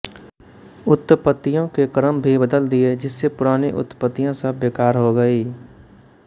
उत्पत्तियों के क्रम भी बदल दिए जिससे पुरानी उत्पत्तियाँ सब बेकार हो गई